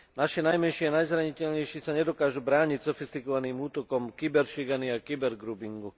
Naši najmenší a najzraniteľnejší sa nedokážu brániť sofistikovaným útokom kyberšikany a kybergroupingu.